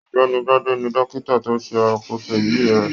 Ọ̀gbẹ́ni Gbade ní dókítà to ṣe àkóso ibí rẹ